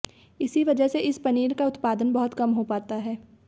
इसी वजह से इस पनीर का उत्पादन बहुत कम हो पाता है